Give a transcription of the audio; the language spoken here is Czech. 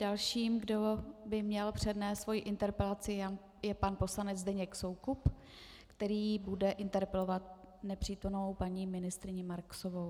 Dalším, kdo by měl přednést svoji interpelaci, je pan poslanec Zdeněk Soukup, který bude interpelovat nepřítomnou paní ministryni Marksovou.